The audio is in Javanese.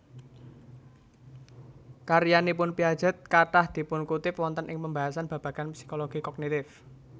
Karyanipun Piaget kathah dipunkutip wonten ing pembahasan babagan psikologi kognitif